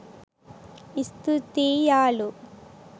ස්තූතියියාලු